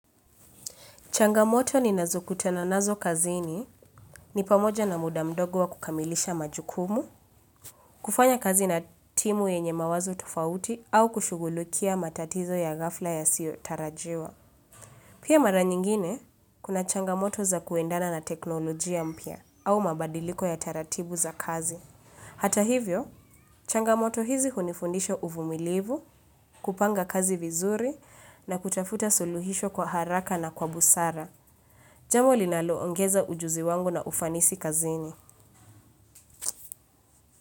Changamoto ninazo kutana nazo kazini ni pamoja na muda mdogo wa kukamilisha majukumu, kufanya kazi na timu yenye mawazo tofauti au kushughulikia matatizo ya ghafla yasiyo tarajiwa. Pia mara nyingine, kuna changamoto za kuendana na teknolojia mpya au mabadiliko ya taratibu za kazi. Hata hivyo, changamoto hizi hunifundisha uvumilivu, kupanga kazi vizuri na kutafuta suluhisho kwa haraka na kwa busara. Jambo linaloongeza ujuzi wangu na ufanisi kazini.